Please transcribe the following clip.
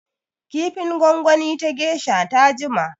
Kifin gwangwani ta geisha ta jima.